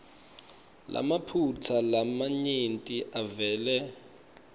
lamaphutsa lamanyenti avele